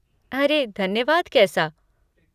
अरे धन्यवाद कैसा!